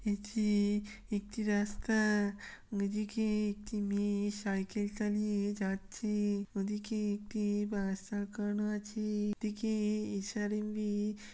এটি-ই একটি রাস্তা। এদিকে একটি মেয়ে সাইকেল চালিয়ে যাচ্ছে। ওদিকে একটি বাস আঁকানো আছে। এদিকে এস.আর.এম.বি. ।